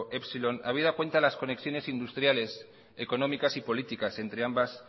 epsilon habida cuenta de las conexiones industriales económicas y políticas entre ambas